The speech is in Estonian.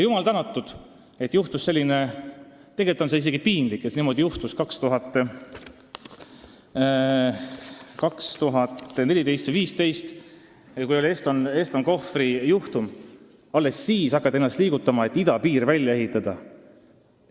Jumal tänatud, et juhtus selline lugu – tegelikult on see piinlik –, et nimelt alles 2014. ja 2015. aastal, kui oli Eston Kohvri juhtum, hakati ennast liigutama, et idapiir välja ehitada.